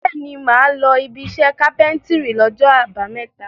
Bẹ́ẹ̀ni, mà á lọ ibiṣẹ́ kápẹ́ńtírì lọ́jọ́ àbámẹ́ta.